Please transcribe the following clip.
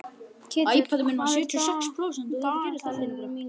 Ketill, hvað er á dagatalinu mínu í dag?